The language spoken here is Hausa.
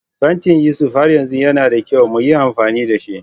Fantin Yusuf har yanzu yana da kyau mu yi amfani da shi